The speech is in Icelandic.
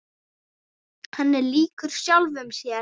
Hann er líkur sjálfum sér.